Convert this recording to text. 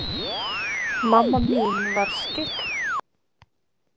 Mamma mín var skyggn.